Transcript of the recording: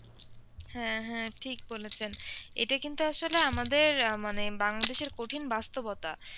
হ্যাঁ হ্যাঁ ঠিক বলেছেন এটা কিন্তু আসলে আমাদের মানে বাংলাদেশের কঠিন বাস্তবতা।